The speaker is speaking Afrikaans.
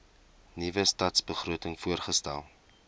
nuwe stadsbegroting voorgestel